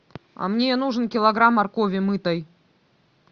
а мне нужен килограмм моркови мытой